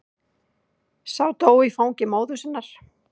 Sá dó í fangi móður sinnar.